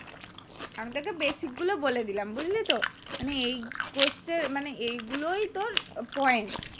আমি তোকে basic গুলো বলে দিলাম বঝলি তো এই question মানে এইগুলোই তোর point